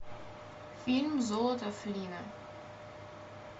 фильм золото флинна